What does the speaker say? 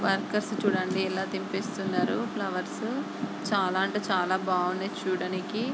Workers చూడండి ఎలా తిప్పేస్తున్నారో ఫ్లవర్స్. చాలా అంటే చాలా బాగున్నాయి చూడనీకి.